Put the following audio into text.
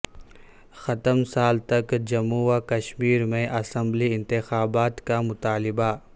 ختم سال تک جموں و کشمیر میں اسمبلی انتخابات کا مطالبہ